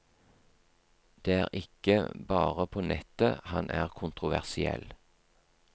Det er ikke bare på nettet han er kontroversiell.